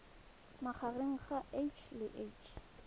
magareng ga h le h